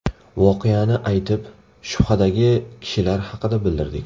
Voqeani aytib, shubhadagi kishilar haqida bildirdik.